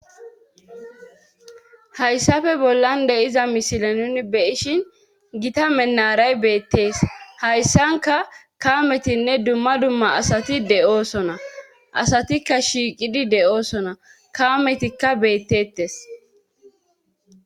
hayssafe bollan de iza mishila nuni beyishin gita menaray beettees hayssanka kaametinne dumma dumma asati de7oosona asatikka shiiqidi de7oosona kaametikka beettettes